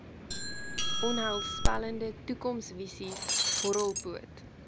onheilspellende toekomsvisies horrelpoot